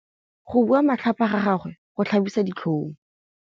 Go bua matlhapa ga gagwe go tlhabisa ditlhong.